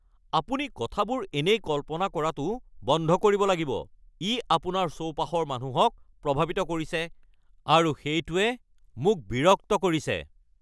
আপুনি কথাবোৰ এনেই কল্পনা কৰাটো বন্ধ কৰিব লাগিব। ই আপোনাৰ চৌপাশৰ মানুহক প্ৰভাৱিত কৰিছে আৰু সেইটোৱে মোক বিৰক্ত কৰিছে।